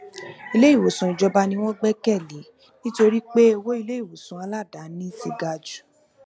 iléìwòsàn ìjọba ni wọn gbẹkẹ lé nítorí pé owó iléìwòsàn aladaani ti ga jù